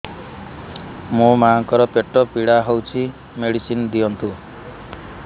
ମୋ ମାଆଙ୍କର ପେଟ ପୀଡା ହଉଛି ମେଡିସିନ ଦିଅନ୍ତୁ